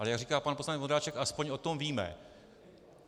Ale jak říká pan poslanec Vondráček, alespoň o tom víme.